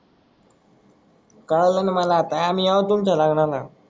cuddle मला आता आम्ही आहो तुमच्या कारणाना